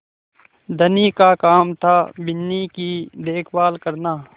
धनी का काम थाबिन्नी की देखभाल करना